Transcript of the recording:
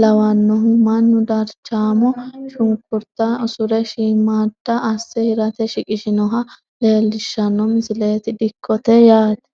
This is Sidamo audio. lawannoho manu darchaamo shunkurta usure shiimmaadda asse hirate shiqishinoha leellishshanno misileeti dikkote yaate